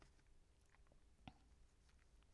Radio24syv